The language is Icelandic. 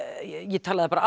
ég talaði bara